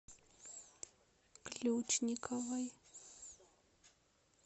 ключниковой